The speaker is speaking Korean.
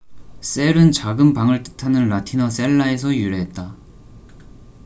셀cell은 작은 방을 뜻하는 라틴어 셀라cella에서 유래했다